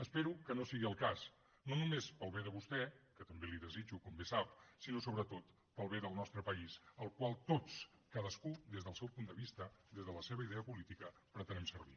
espero que no sigui el cas no només per al bé de vostè que també li desitjo com bé sap sinó sobretot per al bé del nostre país el qual tots cadascú des del seu punt de vista des de la seva idea política pretenem servir